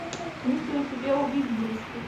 есть ли у тебя убить близких